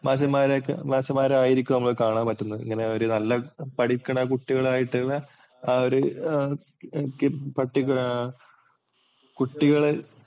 മാഷുമാരെ ഒക്കെ മാഷുമാരെ ആയിരിക്കും നമ്മളെ കാണാന്‍ പറ്റുന്നത്. ഇങ്ങനെ നല്ല ഒരു പഠിക്കണ കുട്ടികള്‍ ആയിട്ടുള്ള ആ ഒരു പര്‍ട്ടിക്കുലര്‍ കുട്ടികളെ